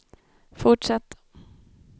fortsätt